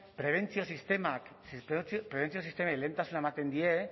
prebentzio sistemei lehentasuna ematen die